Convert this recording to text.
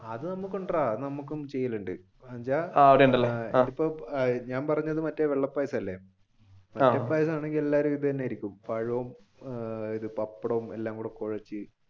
അത് നമുക്കുണ്ട് നമുക്കും ചെയ്യലുണ്ട് ഞാൻ പറഞ്ഞത് മറ്റേ വെള്ള പായസം അല്ലെ എല്ലാവരും ഇത് തന്നെയായിരിക്കും. പഴവും പപ്പടവും എല്ലാം കൂടി കൊഴച്ചു